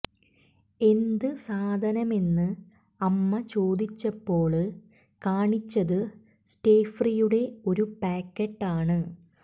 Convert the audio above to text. എന്ത് സാധനമെന്ന് അമ്മ ചോദിച്ചപ്പോള് കാണിച്ചത് സ്റ്റേഫ്രീയുടെ ഒരു പായ്ക്കറ്റ് ആണ്